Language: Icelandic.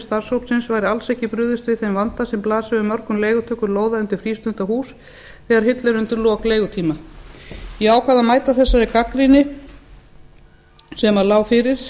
starfshópsins væri alls ekki brugðist við þeim vanda sem blasir við mörgum leigutökum lóða undir frístundahús þegar hillir undir lok leigutíma ég ákvað að mæta þessari gagnrýni sem lá fyrir